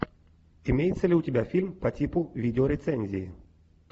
имеется ли у тебя фильм по типу видеорецензии